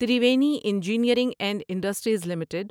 Triveni engineering and industries limited